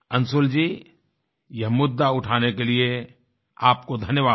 अंशुल जी यह मुद्दा उठाने के लिए आपको धन्यवाद